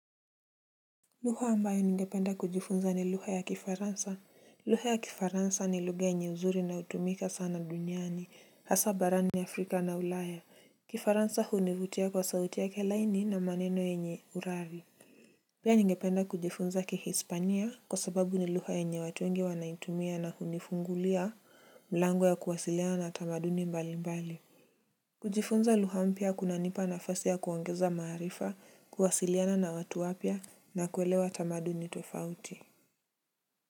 Lugha ambayo ningependa kujifunza ni lugha ya kifaransa. Lugha ya kifaransa ni lugha yenye uzuri na hutumika sana duniani hasa barani Afrika na ulaya. Kifaransa hunivutia kwa sauti yake laini na maneno yenye urari. Pia ningependa kujifunza kihispania kwa sababu ni lugha yenye watu wengi wanaitumia na hunifungulia mlango ya kuwasiliana na tamaduni mbali mbali. Kujifunza lugha mpya kunanipa nafasi ya kuongeza maarifa kuwasiliana na watu wapya na kuelewa tamaduni tofauti.